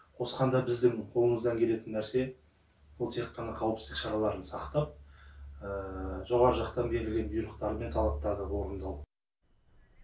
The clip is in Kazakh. қосқанда біздің қолымыздан келетін нәрсе бұл тек қана қауіпсіздік шараларын сақтап жоғарғы жақтан берілген бұйрықтар мен талаптарды орындау